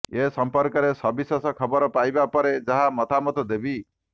ଏ ସମ୍ପର୍କରେ ସବିଶେଷ ଖବର ପାଇବା ପରେ ଯାହା ମତାମତ ଦେବି